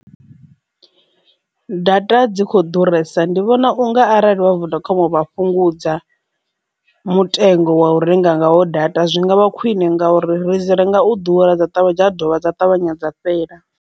Data dzi kho ḓuresa ndi vhona unga arali vha vodacom vha fhungudza mutengo wa u renga ngaho data zwi ngavha khwine ngauri ri dzi renga u ḓura dza ṱavhanya dza dovha dza ṱavhanya dza fhela.